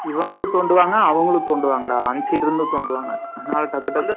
இவங்களும் தோண்டுவாங்க, அவங்களும் தோண்டுவாங்கடா அந்த side ல இருந்தும் தோண்டுவாங்க அதுனால டக்க்கு, டக்குனு